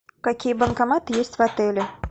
какие банкоматы есть в отеле